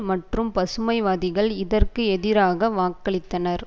மற்றும் பசுமைவாதிகள் இதற்கு எதிராக வாக்களித்தனர்